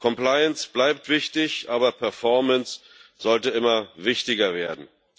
Compliance bleibt wichtig, aber Performance sollte immer wichtiger werden.